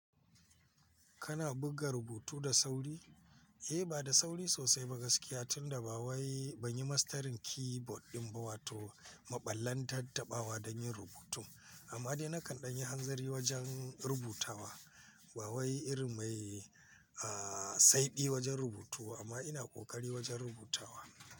Kana buga rubutu da sauri? Eh, ba da sauri sosai ba gaskiya tunda babai, ban yi mastarin keyboard ɗin ba wato maɓallan tattaɓawa don yin rubutu. Amma dai nakan ɗan yi hanzari wajen rubutawa. Bawai irin mai, ah, saidi wajen rubutu amma ina ƙoƙari wajen rubutawa.